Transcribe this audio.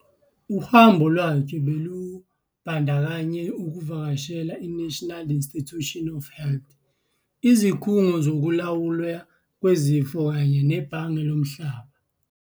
Uhambo lwakhe belubandakanya ukuvakashela i-National Institutes of Health, iZikhungo Zokulawulwa Kwezifo kanye neBhange Lomhlaba.